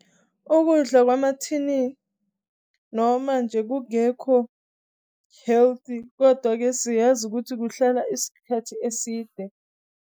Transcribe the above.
Ukudla kwamathini lawamanje kungekho-healthy. Kodwa-ke siyazi ukuthi kuhlala isikhathi eside.